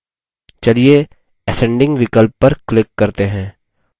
चलिए ascending विकल्प पर click करते हैं